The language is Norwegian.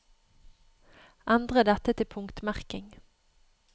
Endre dette til punktmerking